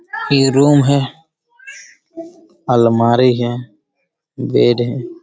ये रूम है अलमारी है बेड है ।